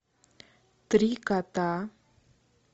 три кота